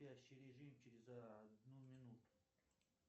спящий режим через одну минуту